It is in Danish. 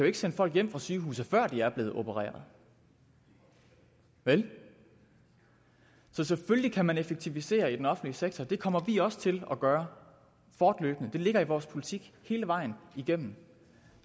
ikke sende folk hjem fra sygehuset før de er blevet opereret vel så selvfølgelig kan man effektivisere i den offentlige sektor og det kommer vi også til at gøre fortløbende det ligger i vores politik hele vejen igennem